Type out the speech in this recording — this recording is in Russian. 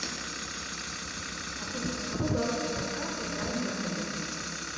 афина какой баланс моей карты в данный момент